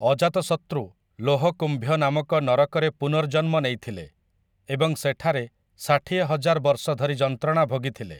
ଅଜାତଶତୃ 'ଲୋହକୁମ୍ଭ୍ୟ' ନାମକ ନରକରେ ପୁନର୍ଜନ୍ମ ନେଇଥିଲେ ଏବଂ ସେଠାରେ ଷାଠିଏ ହଜାର ବର୍ଷ ଧରି ଯନ୍ତ୍ରଣା ଭୋଗିଥିଲେ ।